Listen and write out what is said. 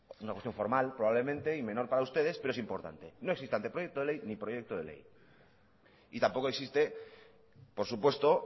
una cuestión formal probablemente y menor para ustedes pero es importante no existe anteproyecto de ley ni proyecto de ley y tampoco existe por supuesto